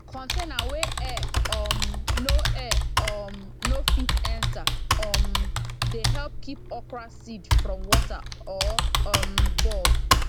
container wey air um no air um no fit enter um dey help keep okra seed from water or um bug